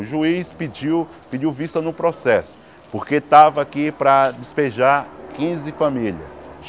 O juiz pediu pediu vista no processo, porque estava aqui para despejar quinze famílias.